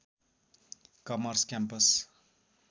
karmas campus